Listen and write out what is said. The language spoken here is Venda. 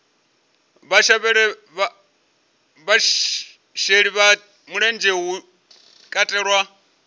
vhasheli vha mulenzhe hu katelwa